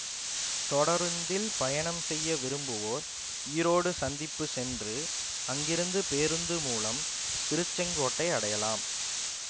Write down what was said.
தொடருந்தில் பயணம் செய்ய விரும்புவோர் ஈரோடு சந்திப்பு சென்று அங்கிருந்து பேருந்து மூலம் திருச்செங்கோட்டை அடையலாம்